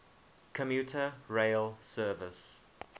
commuter rail service